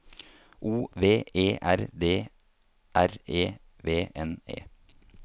O V E R D R E V N E